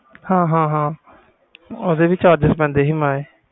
ਹਾਂ ਹਾਂ ਓਹਦੇ ਵੀ charges ਪੈਂਦੇ ਸੀ